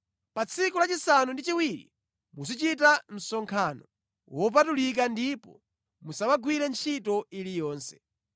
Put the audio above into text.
Pa tsiku lachisanu ndi chiwiri muzichita msonkhano wopatulika ndipo musamagwire ntchito iliyonse.